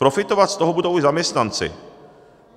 Profitovat z toho budou i zaměstnanci.